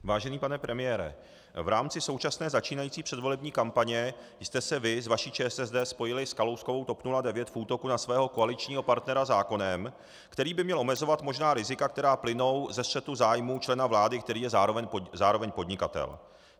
Vážený pane premiére, v rámci současné začínající předvolební kampaně jste se vy s vaší ČSSD spojili s Kalouskovou TOP 09 v útoku na svého koaličního partnera zákonem, který by měl omezovat možná rizika, která plynou ze střetu zájmů člena vlády, který je zároveň podnikatel.